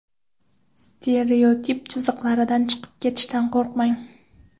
Stereotip chiziqlaridan chiqib ketishdan qo‘rqmang.